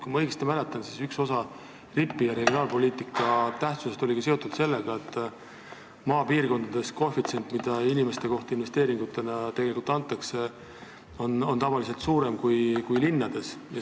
Kui ma õigesti mäletan, siis üks osa RIP-i ja regionaalpoliitika tähtsusest oli seotud sellega, et koefitsient, kui palju raha investeeringutena inimese kohta tegelikult anti, oli maapiirkondades tavaliselt suurem kui linnades.